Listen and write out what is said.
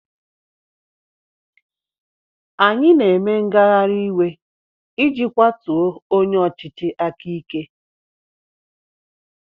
Anyị na-eme ngagharị iwe iji kwatuo onye ọchịchị aka ike.